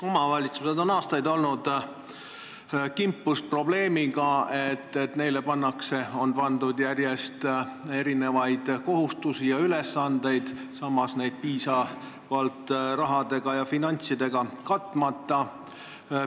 Omavalitsused on aastaid olnud kimpus probleemiga, et neile on pandud järjest kõikvõimalikke kohustusi ja ülesandeid, samas neid piisavalt rahadega ja finantsidega katmata.